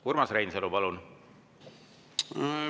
Urmas Reinsalu, palun!